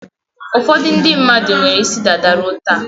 Ụfọdụ ndị mmadụ nwere isi dada ruo taa.